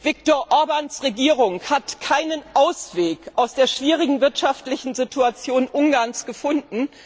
Viktor Orbáns Regierung hat keinen Ausweg aus der schwierigen wirtschaftlichen Situation Ungarns gefunden.